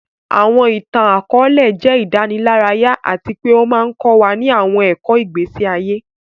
Àwọn ìtàn-àkóòlẹ̀ jẹ ìdánilárayá àti pe o ma n kọ wa ni àwọn ẹ̀kọ́ ìgbésí ayé